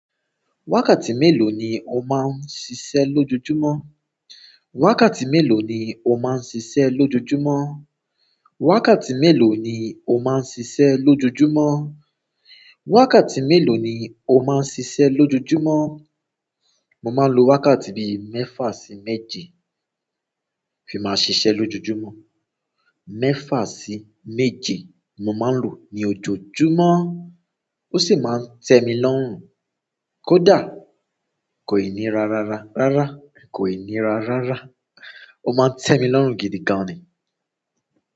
Wákàtí mélòó ni o máa ń ṣiṣẹ́ lójoojúmọ́? Wákàtí mélòó ni o máa ń ṣiṣẹ́ lójoojúmọ́? Wákàtí mélòó ni o máa ń ṣiṣẹ́ lójoojúmọ́? Wákàtí mélòó ni o máa ń ṣiṣẹ́ lójoojúmọ́? Mo máa ń lo wákàtí bíi mẹ́fà sí méje fi máa ṣiṣẹ́ lójoojúmọ́. Mẹ́fà sí méje mo máa ń lo ní ojoojúmọ́. Ó sì máa ń tẹ́ mi lọ́rùn. Kódà kò ì níra rara rárá, kò ì níra rara. Ó máa ń tẹ́ mi lọ́rùn gidi gan ni.